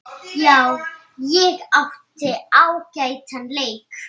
Já, ég átti ágætan leik.